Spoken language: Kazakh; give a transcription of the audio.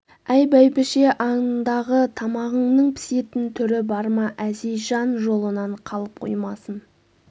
әй бәйбіше андағы тамағыңның пісетін түрі бар ма әзизжан жолынан қалып қоймасын